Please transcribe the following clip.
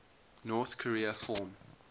north korea form